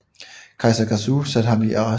Kejser Gaozu satte ham i arrest